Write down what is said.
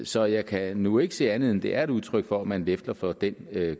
så jeg kan nu ikke se andet end at det er et udtryk for at man lefler for den